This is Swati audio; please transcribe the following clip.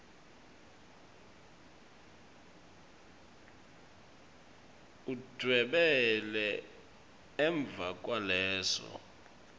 udvwebele emva kwaleso